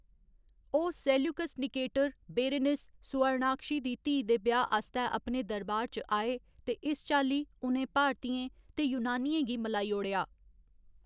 ओह् Seleucus Nicator, Berenice, Suvarnakshi, दी धीऽ दे ब्याह्‌‌ आस्तै अपने दरबार च आए, ते इस चाल्ली, उ'नें भारतीयें ते यूनानियें गी मलाई ओड़ेआ।